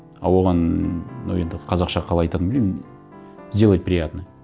а оған мынау енді қазақша қалай айтатынын білмеймін сделать приятное